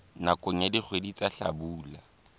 nakong ya dikgwedi tsa hlabula